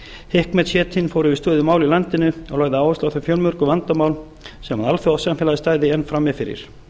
fór yfir stöðu mála í landinu og lagði áherslu á þau fjölmörgu vandamál sem alþjóðasamfélagið stæði enn frammi fyrir